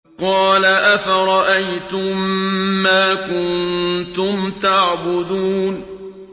قَالَ أَفَرَأَيْتُم مَّا كُنتُمْ تَعْبُدُونَ